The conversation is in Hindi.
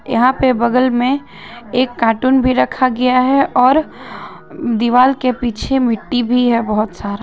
यहां पे बगल में एक कार्टून भी रखा गया है और दीवार के पीछे मिट्ठी भी है बहुत सारा--